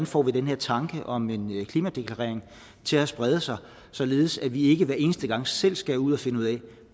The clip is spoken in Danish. får den her tanke om en klimadeklarering til at sprede sig således at vi ikke hver eneste gang selv ska ud og finde ud af